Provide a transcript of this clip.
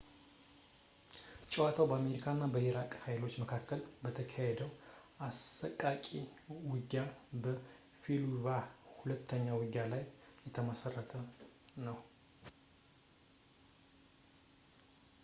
ጨዋታው በአሜሪካ እና በኢራቅ ኃይሎች መካከል በተካሄደው አሰቃቂ ውጊያ በ fallujah ሁለተኛ ውጊያ ላይ የተመሠረተ ነው